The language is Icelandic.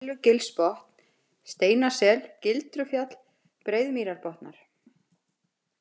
Millugilsbotn, Steinasel, Gildrufjall, Breiðamýrubotnar